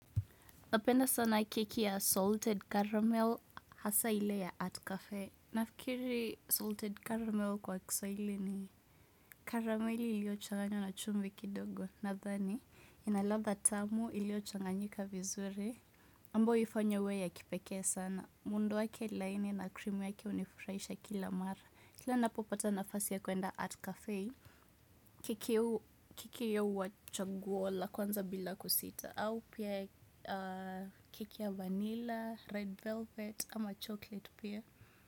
Napenda sana kiki ya Salted Caramel hasa ile ya Art Cafe. Nafikiri Salted Caramel kwa kiswahili ni karameli ilio changanywa na chumvi kidogo. Nadhani, ina ladha tamu iliochanganyika vizuri. Ambayo huifanya iwe ya kipekee sana. Muundo wake laini na krimu wake hunifurahisha kila mara. Kila napopata nafasi ya kuenda Art Cafe. Keki hiyo huwa chaguo la kwanza bila kusita. Au pia keki ya vanilla, red velvet ama chocolate beer.